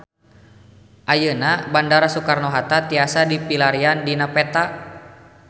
Ayeuna Bandara Soekarno Hatta tiasa dipilarian dina peta